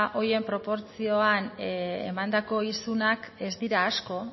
horien proportzioan emandako isunak ez dira asko